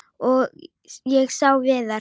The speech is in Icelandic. Og ég sá Viðar.